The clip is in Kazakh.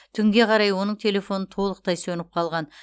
түнге қарай оның телефоны толықтай сөніп қалған